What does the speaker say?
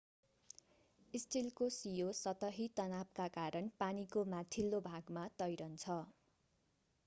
स्टिलको सियो सतही तनावका कारण पानीको माथिल्लो भागमा तैरन्छ